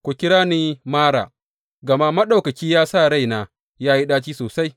Ku kira ni Mara gama Maɗaukaki ya sa raina ya yi ɗaci sosai.